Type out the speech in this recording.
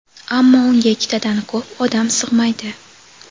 ammo unga ikkitadan ko‘p odam sig‘maydi.